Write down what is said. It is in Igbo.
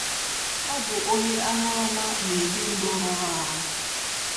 Ọ bụ onye aṅụrụma na - ebi ndụ rụrụ arụ.